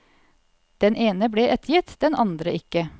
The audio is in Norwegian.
Den ene ble ettergitt, den andre ikke.